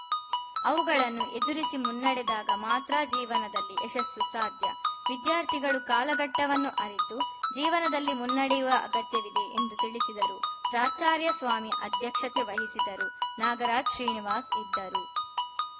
ಅವುಗಳನ್ನು ಎದುರಿಸಿ ಮುನ್ನಡೆದಾಗ ಮಾತ್ರ ಜೀವನದಲ್ಲಿ ಯಶಸ್ಸು ಸಾಧ್ಯ ವಿದ್ಯಾರ್ಥಿಗಳು ಕಾಲಘಟ್ಟವನ್ನು ಅರಿತು ಜೀವನದಲ್ಲಿ ಮುನ್ನಡೆಯುವ ಅಗತ್ಯವಿದೆ ಎಂದು ತಿಳಿಸಿದರು ಪ್ರಾಚಾರ್ಯ ಸ್ವಾಮಿ ಅಧ್ಯಕ್ಷತೆ ವಹಿಸಿದ್ದರು ನಾಗರಾಜ್‌ ಶ್ರೀನಿವಾಸ್‌ ಇದ್ದರು